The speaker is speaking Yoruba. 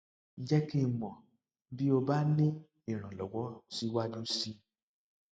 jẹ kí n mọ bí o bá ní ìrànlọwọ síwájú sí i